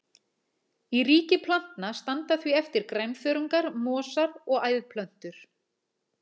Í ríki plantna standa því eftir grænþörungar, mosar og æðplöntur.